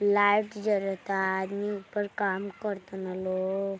Light जलता आदमी ऊपर काम करतन लो।